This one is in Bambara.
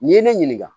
N'i ye ne ɲininka